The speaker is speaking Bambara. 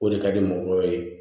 O de ka di mɔgɔw ye